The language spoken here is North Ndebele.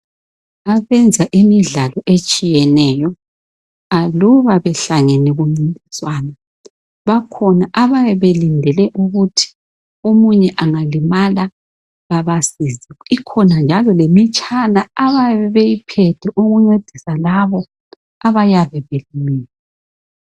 Abenza imidlalo etshiyeneyo aluba behlangene kumncintiswana. Bakhona abayabe belindele ukuthi omunye angalimala babasize. Ikhona njalo lemitshana abayabe beyiphethe ukuncesisa labo abayabe belimele.